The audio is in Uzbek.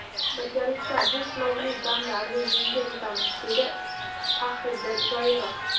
Birgalikda bu sinovli damlarni yengib o‘tamiz”, dedi Faxriddin Zoirov.